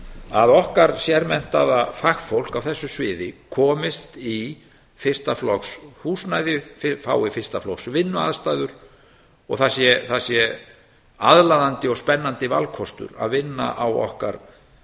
að okkar sérmenntaða fagfólk á þessu sviði komist í fyrsta flokks húsnæði fái fyrsta flokks vinnuaðstæður og það sé aðlaðandi og spennandi valkostur að vinna á okkar